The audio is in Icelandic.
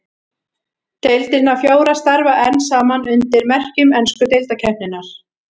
Deildirnar fjórar starfa enn saman undir merkjum ensku deildarkeppninnar.